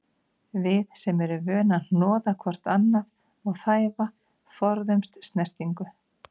Við sem erum vön að hnoða hvort annað og þæfa, forðumst snertingu.